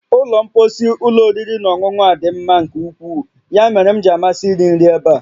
Ụlọ mposi ụlọ oriri na ọṅụṅụ a dị mma nke ukwuu, ya mere m ji amasị iri nri ebe a